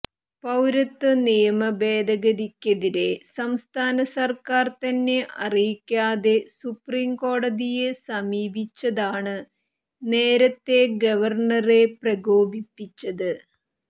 പൌരത്വനിയമഭേദഗതിക്കെതിരേ സംസ്ഥാന സർക്കാർ തന്നെ അറിയിക്കാതെ സുപ്രീംകോടതിയെ സമീപിച്ചതാണ് നേരത്തേ ഗവർണറെ പ്രകോപിപ്പിച്ചത്